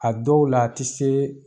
A dɔw la , a tɛ se